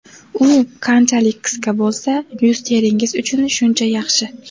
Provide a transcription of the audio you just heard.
U qanchalik qisqa bo‘lsa, yuz teringiz uchun shuncha yaxshi.